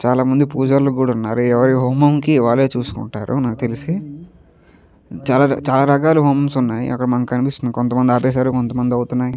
చాలామంది పూజర్లు కూడా ఎవరి హోమం కి వాళ్ళే చూసుకుంటారు నాకు తెలిసి చాలా రకాల హోమాలు ఉన్నాయి అక్కడ కనిపిస్తుంది మనకు కొంత మంది ఆపేసారు కొంతమంది అవుతున్నాయి.